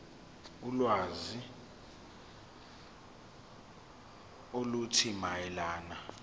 ulwazi oluthile mayelana